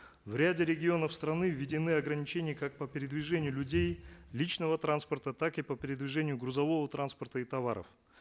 в ряде регионов страны введены органичения как по передвижению людей личного транспорта так и по передвижению грузового транспорта и товаров